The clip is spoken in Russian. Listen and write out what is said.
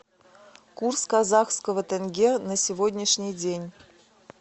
курс казахского тенге на сегодняшний день